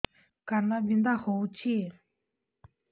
କାନ ବିନ୍ଧା ହଉଛି